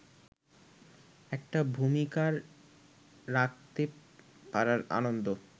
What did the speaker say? একটা ভুমিকা রাখতে পারার আনন্দ